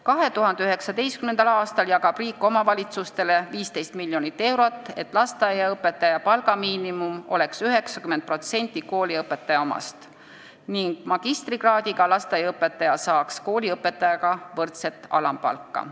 2019. aastal jagab riik omavalitsustele 15 miljonit eurot, et lasteaiaõpetaja palga miinimum oleks 90% kooliõpetaja omast ning magistrikraadiga lasteaiaõpetaja saaks kooliõpetajaga võrdset alampalka.